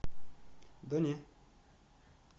да не